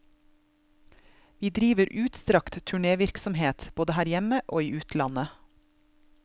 Vi driver utstrakt turnévirksomhet, både her hjemme og i utlandet.